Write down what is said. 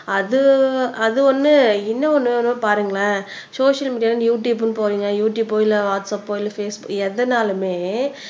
அது அது ஒண்ணு இன்னும் ஒண்ணு பாருங்களேன் சோசியல் மீடியால யுடுயூப்ன்னு போறீங்க யுடுயூபோ இல்ல வாட்ஸபோ இல்ல பேஸ்புக் எதனாலுமே